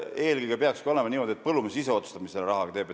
Eelkõige peaks olema niimoodi, et põllumees ise otsustab, mida ta selle rahaga teeb.